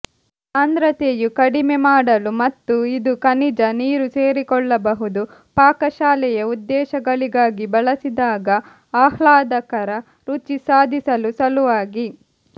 ಸಾಂದ್ರತೆಯು ಕಡಿಮೆ ಮಾಡಲು ಮತ್ತು ಇದು ಖನಿಜ ನೀರು ಸೇರಿಕೊಳ್ಳಬಹುದು ಪಾಕಶಾಲೆಯ ಉದ್ದೇಶಗಳಿಗಾಗಿ ಬಳಸಿದಾಗ ಆಹ್ಲಾದಕರ ರುಚಿ ಸಾಧಿಸಲು ಸಲುವಾಗಿ